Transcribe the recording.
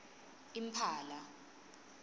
imphala